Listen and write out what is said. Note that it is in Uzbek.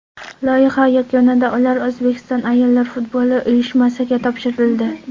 Loyiha yakunida ular O‘zbekiston ayollar futboli uyushmasiga topshirildi.